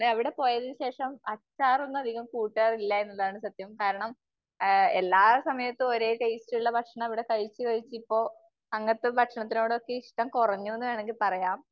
പിന്നെ അവിടെ പോയതിന് ശേഷം അച്ചാറൊന്നും അധികം കൂട്ടാറില്ല എന്നുള്ളതാണ് സത്യം. കാരണം എല്ലാ സമയത്തും ഒരേ ടേസ്റ്റുള്ള ഭക്ഷണം അവിടെ കഴിച്ച് കഴിച്ച് ഇപ്പോ അങ്ങനത്തെ ഭക്ഷണത്തിനോട് ഒക്കെ ഇഷ്ടം കുറഞ്ഞു എന്ന് വേണമെങ്കിൽ പറയാം.